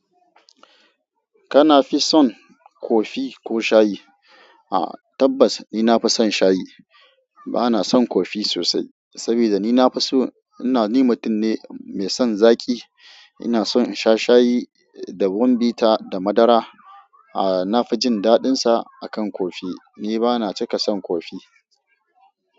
Kana fi son kofi ko shayi? Tabbas ni na fi son shayi. Ba na son kofi sosai saboda ni na fi so ina ni mutum ne mai son zaki ina son in sha shayi da ruwan bita da madara. Na fi jin daɗin sa akan kofi. Ni ba na cika son kofi.